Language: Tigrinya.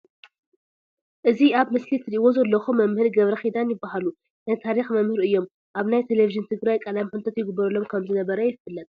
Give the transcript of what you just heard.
እዚ አብ ምስሊ ትርእዎ ዘለኩም መምህር ገረክዳን ይባሃሉ ናይ ታሪኪ መምህር እዮም አብ ናይ ተለቨጅን ትግራይ ቃለ መሐት ይግበረሎም ከም ዝነበረ የፊለጥ።